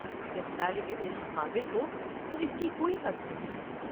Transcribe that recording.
جب طالب علم قابل ہو تو اس کی کوئی حد نہیں ہے۔